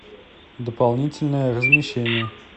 дополнительное размещение